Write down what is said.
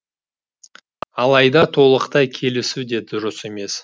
алайда толықтай келісу де дұрыс емес